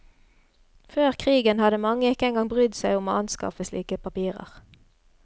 Før krigen hadde mange ikke engang brydd seg om å anskaffe slike papirer.